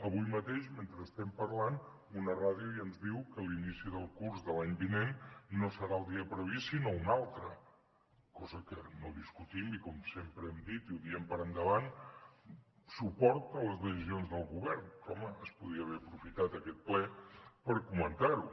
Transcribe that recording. avui mateix mentre estem parlant una ràdio ja ens diu que l’inici del curs de l’any vinent no serà el dia previst sinó un altre cosa que no discutim i com sempre hem dit i ho diem per endavant suport a les decisions del govern però home es podria haver aprofitat aquest ple per comentar ho